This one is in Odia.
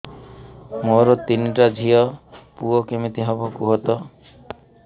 ମୋର ତିନିଟା ଝିଅ ପୁଅ କେମିତି ହବ କୁହତ